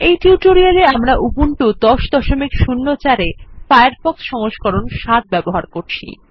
এই টিউটোরিয়ালে আমরা উবুন্টু ১০০৪ এ ফায়ারফক্স সংস্করণ ৭ ব্যবহার করছি